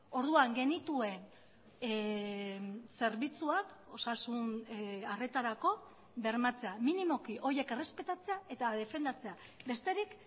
orduan genituen zerbitzuak osasun arretarako bermatzea minimoki horiek errespetatzea eta defendatzea besterik